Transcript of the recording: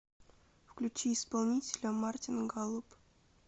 включи исполнителя мартин галлоп